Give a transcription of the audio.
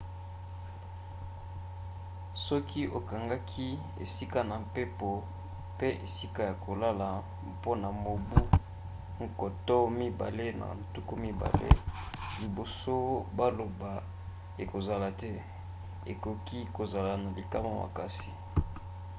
soki okangaki esika na mpepo mpe esika ya kolala mpona mobu 2020 liboso baloba ekozala te okoki kozala na likama makasi